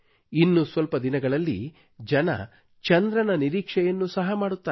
ಇನ್ನು ಸ್ವಲ್ಪ ದಿನಗಳಲ್ಲಿ ಜನರು ಚಂದ್ರನ ನಿರೀಕ್ಷೆಯನ್ನು ಸಹ ಮಾಡುತ್ತಾರೆ